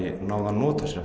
náð að nota